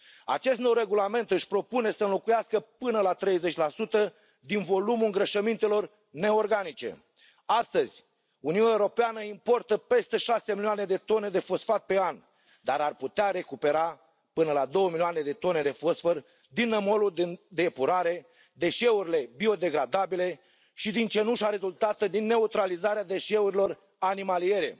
Acest nou regulament își propune să înlocuiască până la 30 din volumul îngrășămintelor neorganice. Astăzi, Uniunea Europeană importă peste șase milioane de tone de fosfat pe an, dar ar putea recupera până la două milioane de tone de fosfor din nămolul de epurare, deșeurile biodegradabile și din cenușa rezultată din neutralizarea deșeurilor animaliere.